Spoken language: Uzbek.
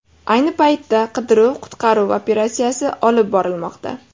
Ayni paytda qidiruv-qutqaruv operatsiyasi olib borilmoqda.